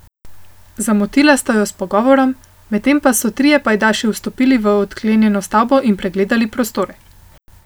Zamotila sta jo s pogovorom, medtem pa so trije pajdaši vstopili v odklenjeno stavbo in pregledali prostore.